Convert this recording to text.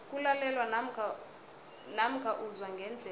kulalelwa namkha uzwa ngendlebe